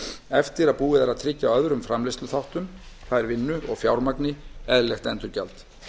eftir að búið er að tryggja öðrum framleiðsluþáttum það er vinnu og fjármagni eðlilegt endurgjald